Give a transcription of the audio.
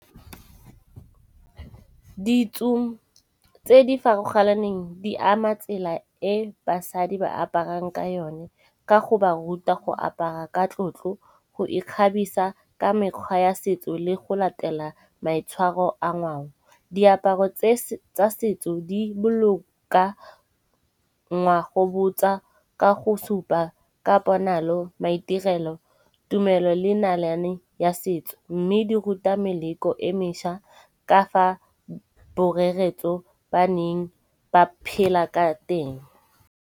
Ditso tse di farologaneng di ama tsela e basadi ba aparang ka yone ka go ba ruta go apara ka tlotlo, go ikgabisa ka mekgwa ya setso le go latela maitshwaro a ngwao. Diaparo tsa setso di boloka ngwago botsa ka go supa ka ponalo, maitirelo, tumelo le nalane ya setso. Mme di ruta meleko e meša ka fa boreretso ba neng ba phela ka teng.